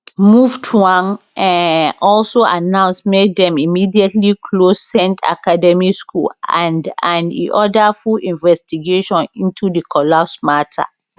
muftwang um also announce make dem immediately close saint academy school and and e order full investigation into di collapse matter